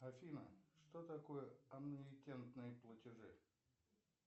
афина что такое аннуитетные платежи